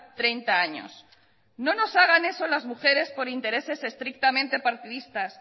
treinta años no nos hagan eso a las mujeres por intereses estrictamente partidistas